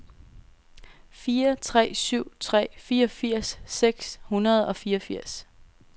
fire tre syv tre fireogfirs seks hundrede og fireogfirs